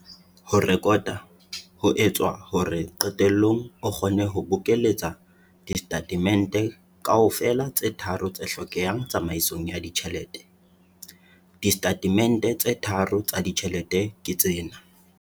Ho rekota ho etswa hore qetellong o kgone ho bokeletsa disetatemente kaofela tse tharo tse hlokahalang tsamaisong ya ditjhelete. Disetatemente tse tharo tsa ditjhelete ke tsena.